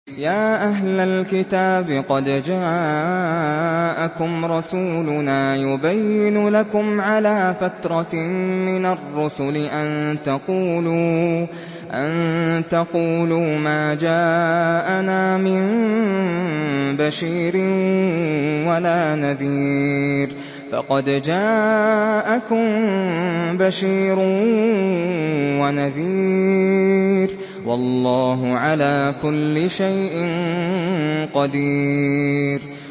يَا أَهْلَ الْكِتَابِ قَدْ جَاءَكُمْ رَسُولُنَا يُبَيِّنُ لَكُمْ عَلَىٰ فَتْرَةٍ مِّنَ الرُّسُلِ أَن تَقُولُوا مَا جَاءَنَا مِن بَشِيرٍ وَلَا نَذِيرٍ ۖ فَقَدْ جَاءَكُم بَشِيرٌ وَنَذِيرٌ ۗ وَاللَّهُ عَلَىٰ كُلِّ شَيْءٍ قَدِيرٌ